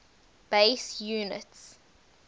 base units